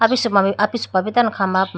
apisupa apisupa tando khamba pum.